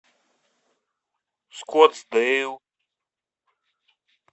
скоттсдейл